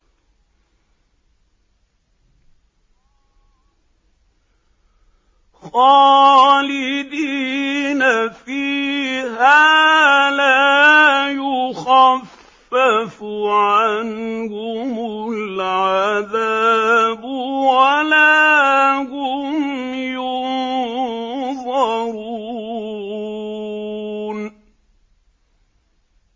خَالِدِينَ فِيهَا ۖ لَا يُخَفَّفُ عَنْهُمُ الْعَذَابُ وَلَا هُمْ يُنظَرُونَ